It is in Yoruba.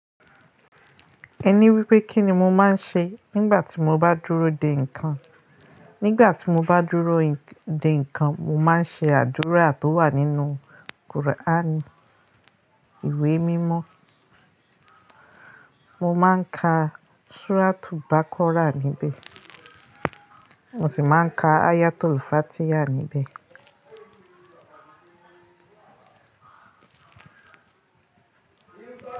Ẹ ni wípé kíni mo máa ń ṣe nígbà tí mo bá dúró dè ǹkan. Nígbà tí mo bá dúró dè ǹkan, mo máa ń ṣe àdúrà tó wà nínú kùr'ání, ìwé mímọ́. Mo máa ń ka suratu baqara níbẹ̀, mo sì máa ń ka ayatu-l-fatiha níbẹ̀.